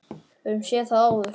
Við höfum séð það áður.